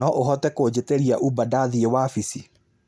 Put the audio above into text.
no ũhote kũjĩtĩria Uber ndathiĩ wabici